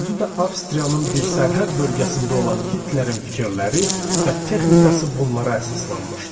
Özü də Avstriyanın bir sərhəd bölgəsində olan Hitlerin fikirləri və texnikası bunlara əsaslanmışdı.